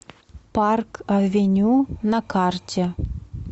парк авеню на карте